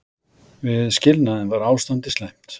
Við skilnaðinn var ástandið slæmt.